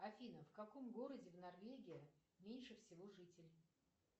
афина в каком городе в норвегии меньше всего жителей